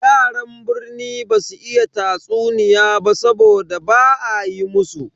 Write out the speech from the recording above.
Yaran birni basu iya tatsuniya ba saboda ba a yi musu.